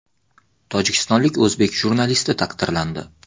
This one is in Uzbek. Tojikistonlik o‘zbek jurnalisti taqdirlandi.